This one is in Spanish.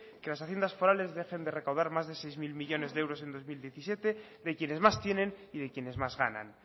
que las haciendas forales dejen de recaudar más de seis mil millónes de euros en dos mil diecisiete de quienes más tienen y de quienes más ganan